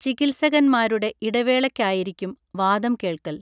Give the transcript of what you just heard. ചികിത്സകൻമാരുടെ ഇടവേളക്കായിരിക്കും വാദം കേൾക്കൽ